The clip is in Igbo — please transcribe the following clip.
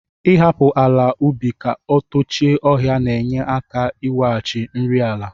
Ịhapụ ala ubi ka o tochie ọhịa na-enye aka iweghachi nri ala.